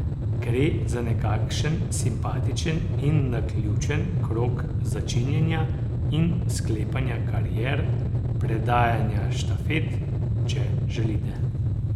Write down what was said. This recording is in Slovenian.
Gre za nekakšen simpatičen in naključen krog začenjanja in sklepanja karier, predajanja štafet, če želite.